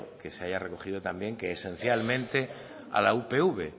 que se haya recogido también esencialmente a la upv